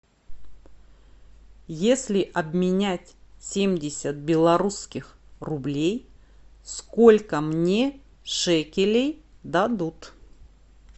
если обменять семьдесят белорусских рублей сколько мне шекелей дадут